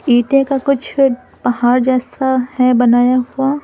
ईटे का कुछ पहाड़ जैसा है बनाया हुआ--